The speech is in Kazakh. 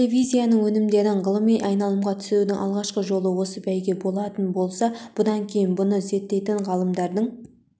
телевизияның өнімдерін ғылыми айналымға түсірудің алғашқы жолы осы бәйге болатын болса бұдан кейін мұны зерттейтін ғалымдардың